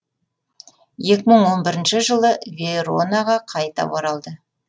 екі мың о бірінші жылы веронаға қайта оралды